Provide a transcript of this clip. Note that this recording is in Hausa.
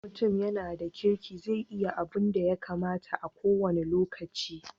In mutum ya na da kirki zai yi abunda ya kamata a ko wani lokaci